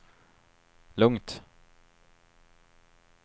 lugnt